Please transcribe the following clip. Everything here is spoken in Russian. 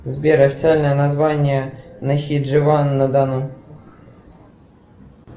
сбер официальное название нахидживан на дону